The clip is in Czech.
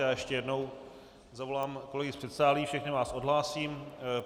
Já ještě jednou zavolám kolegy z předsálí, všechny vás odhlásím.